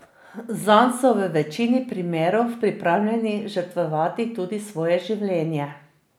Zanj so v večini primerov pripravljeni žrtvovati tudi svoje življenje.